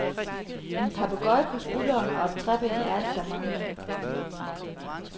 En papegøje på skulderen og et træben er alt der mangler.